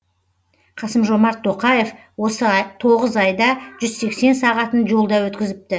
қасым жомарт тоқаев осы тоғыз айда жүз сексен сағатын жолда өткізіпті